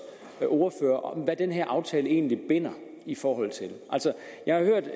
ordfører hvad den her aftale egentlig binder i forhold til jeg har hørt